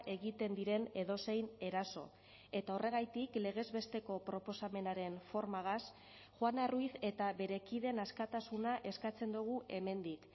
egiten diren edozein eraso eta horregatik legez besteko proposamenaren formagaz juana ruíz eta bere kideen askatasuna eskatzen dugu hemendik